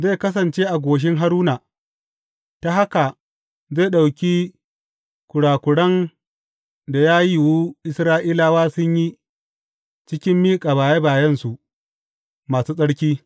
Zai kasance a goshin Haruna, ta haka zai ɗauki kurakuran da ya yiwu Isra’ilawa sun yi cikin miƙa baye bayensu masu tsarki.